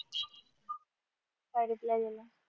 काय reply दिला